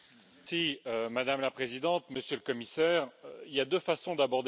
Madame la Présidente, Monsieur le Commissaire, il y a deux façons d'aborder cette question.